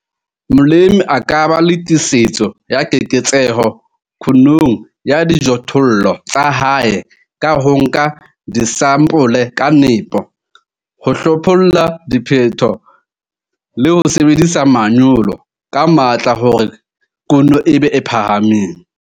Molemi a ka ba le tiisetso ya keketseho kunong ya dijothollo tsa hae ka ho nka disampole ka nepo, ho hlopholla diphetho le ho sebedisa manyolo ka matla hore kuno e be e phahameng.